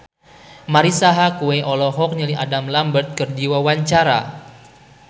Marisa Haque olohok ningali Adam Lambert keur diwawancara